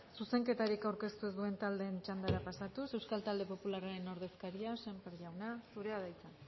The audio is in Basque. zuzenketarik aurkeztu ez duen taldearen txandara pasatuz euskal talde popularraren ordezkaria sémper jauna zurea da hitza